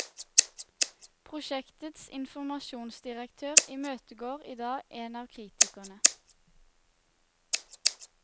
Prosjektets informasjonsdirektør imøtegår idag en av kritikerne.